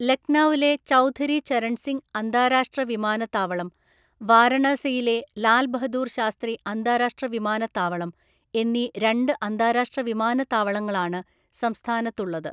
ലക്നൌവിലെ ചൌധരി ചരൺ സിംഗ് അന്താരാഷ്ട്ര വിമാനത്താവളം, വാരണാസിയിലെ ലാൽ ബഹദൂർ ശാസ്ത്രി അന്താരാഷ്ട്ര വിമാനത്താവളം എന്നീ രണ്ട് അന്താരാഷ്ട്ര വിമാനത്താവളങ്ങളാണ് സംസ്ഥാനത്തുള്ളത്.